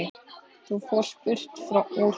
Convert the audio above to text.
Þú fórst burt úr bænum.